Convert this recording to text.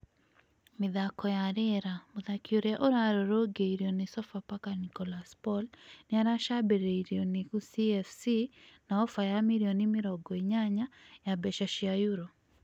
(Mĩthaako ya rĩera) Mũthaki ũrĩa ũrarũrũngirwo nĩ Sofapaka Nicholas Paul nĩ aracambĩrĩirio nĩ Gusii FC na ofa ya mirioni mĩrongoinyanya ya mbeca cia euro.